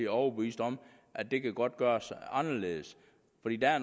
overbevist om at det godt kan gøres anderledes